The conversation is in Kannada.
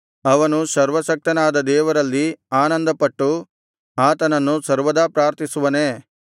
ಅವನು ಸರ್ವಶಕ್ತನಾದ ದೇವರಲ್ಲಿ ಆನಂದಪಟ್ಟು ಆತನನ್ನು ಸರ್ವದಾ ಪ್ರಾರ್ಥಿಸುವನೇ